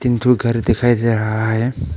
तीन ठो घर दिखाई दे रहा है।